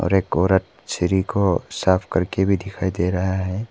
और एक औरत सीढ़ी को साफ करके भी दिखाई दे रहा है।